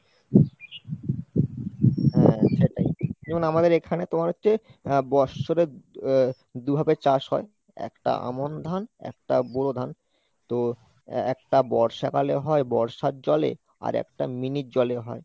হ্যাঁ সেটাই, যেমন আমাদের এখানে তোমার হচ্ছে আহ বৎসরের আহ দু'ভাবে চাষ হয় একটা আমন ধান, একটা বোরো ধান, তো একটা বর্ষাকালে হয় বর্ষার জলে আর একটা mini এর জলে হয়।